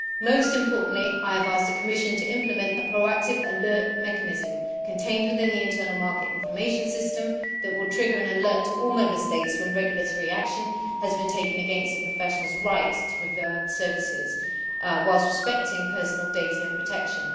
Most importantly, I have asked the Commission to implement a proactive alert mechanism contained within the internal market information system that will trigger an alert to all Member States when regulatory action has been taken against a professional's rights to provide services, whilst respecting personal data protection.